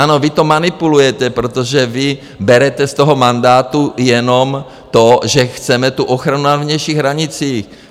Ano, vy to manipulujete, protože vy berete z toho mandátu jenom to, že chceme tu ochranu na vnějších hranicích.